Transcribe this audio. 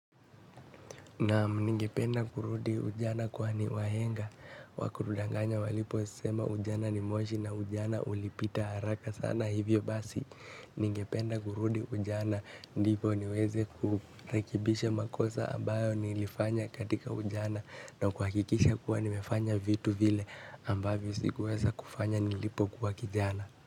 Naam ningependa kurudi ujana kwani wahenga, hawakutudanganya waliposema ujana ni moshi na ujana ulipita haraka sana hivyo basi, ningependa kurudi ujana ndivo niweze kurekebisha makosa ambayo nilifanya katika ujana na kuhakikisha kuwa nimefanya vitu vile ambavyo sikuweza kufanya nilipokuwa kijana.